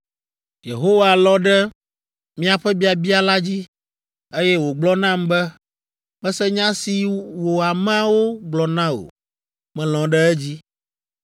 Yehowa lɔ̃ ɖe miaƒe biabia la dzi, eye wògblɔ nam be, “Mese nya si wò ameawo gblɔ na wò; melɔ̃ ɖe edzi.